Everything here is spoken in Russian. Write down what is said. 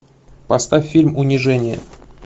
поставь фильм унижение